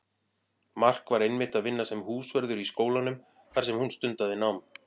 Mark var einmitt að vinna sem húsvörður í skólanum þar sem hún stundaði nám.